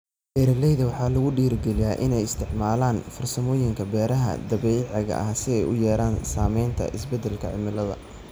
Beeraleyda waxaa lagu dhiirigelinayaa inay isticmaalaan farsamooyinka beeraha dabiiciga ah si ay u yareeyaan saamaynta isbeddelka cimilada.